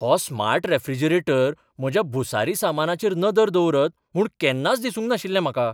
हो smart refrigerator म्हज्या भुसारी सामानाचेर नदर दवरत म्हूण केन्नाच दिसूंक नाशिल्लें म्हाका.